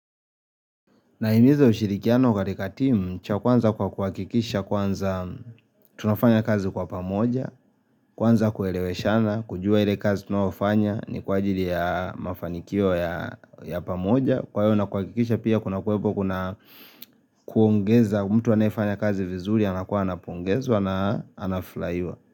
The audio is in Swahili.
Naimiza ushirikiano katika timu, cha kwanza kwa kuakikisha kwanza tunafanya kazi kwa pamoja, kwanza kueleweshana, kujua ile kazi tunaofanya ni kwa ajili ya mafanikio ya ya pamoja, kwa hiyo na kuakikisha pia kuna kuwepo kuna kuongeza mtu anayefanya kazi vizuri anakuwa anapongezwa na anaflaiwa.